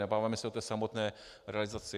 Nebavíme se o té samotné realizaci.